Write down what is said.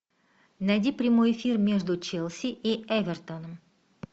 найди прямой эфир между челси и эвертоном